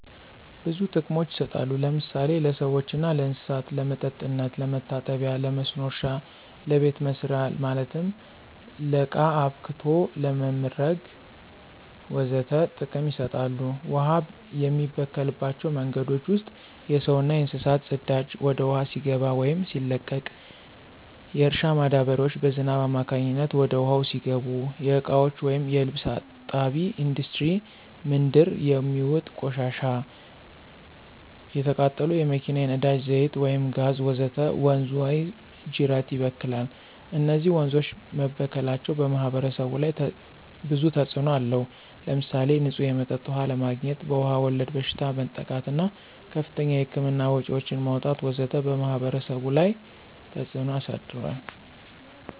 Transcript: ብዙ ጥቅሞች ይሰጣሉ ለምሳሌ ለሰዎችና ለእንሰሳት ለመጠጥነት፣ ለመታጠቢ ለመስኖ እረሻ ለቤተ መሰሪያ ማለትም ለቃ አብክቶ ለመምረግ ወዘተ ጥቅም ይሰጣሉ። ውሃ የሚበከልባቸው መንገዶች ውስጥ የሰውና የእንስሳት ፅዳጂ ወደ ውሃው ሲገባ ወይም ሲለቀቅ፣ የእርሻ ማዳበሪያዎች በዝናብ አማካኝነት ወደ ውሃው ሲገቡ፣ የእቃዎች ወይም የልብስ እጣቢ፣ እንዱስትሪ ምንድር የሚውጥ ቆሻሻዎች፣ የተቃጠሉ የመኪና የነዳጂ ዛይት ወይም ጋዝ ወዘተ ወንዝ ወይም ጂረት ይበክላል። እነዚህ ወንዞች መበከላቸው በማህበረሰቡ ላይ ብዙ ተጽእኖ አለው። ለምሳሌ ንፁህ የመጠጥ ውሃ አለማግኝት፣ በዉሃ ወለድ በሽታዎች መጠቃት እና ከፍተኛ የህክምና ወጭዎችን ማውጣት ወዘተ በማህበረሰቡ ላይ ተፀ ተጽዕኖ አሳድሯል።